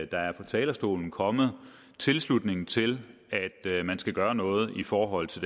der er fra talerstolen kommet tilslutning til at man skal gøre noget i forhold til